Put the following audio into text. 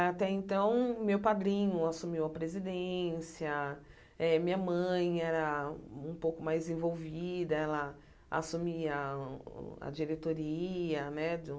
Até então, meu padrinho assumiu a presidência, eh minha mãe era um pouco mais envolvida, ela assumia o a diretoria né do